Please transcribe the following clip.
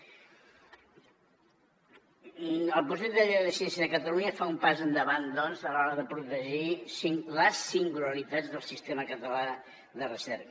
el projecte de llei de ciència de catalunya fa un pas endavant a l’hora de protegir les singularitats del sistema català de recerca